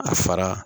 A fara